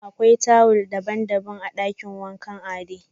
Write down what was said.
Akwai tuwil daban-daban a dakin wankan Ade.